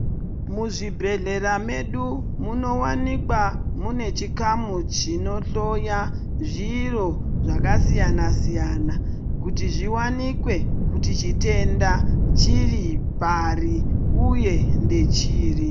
Muzvibhedhlera medu munowanika mune chikamu chinohloya zviro zvakasiyana siyana kuti zviwanikwe kuti chitenda chiripari uye ndechiri.